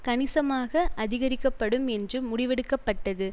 கணிசமாக அதிகரிக்கப்படும் என்று முடிவெடுக்கப்பட்டது